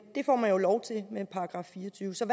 det får man jo lov til med § fireogtyvende så